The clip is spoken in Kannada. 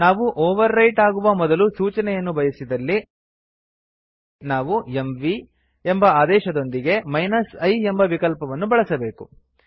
ನಾವು ಓವರ್ ರೈಟ್ ಆಗುವ ಮೊದಲು ಸೂಚನೆಯನ್ನು ಬಯಸಿದಲ್ಲಿ ನಾವು ಎಂವಿ ಎಂಬ ಆದೇಶದೊಂದಿಗೆ i ಎಂಬ ವಿಕಲ್ಪವನ್ನು ಬಳಸಬೇಕು